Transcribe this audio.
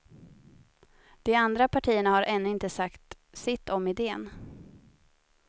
De andra partierna har ännu inte sagt sitt om iden.